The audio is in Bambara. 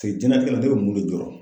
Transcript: diɲɛlatigɛ la ne bɛ mun de jɔrɔ.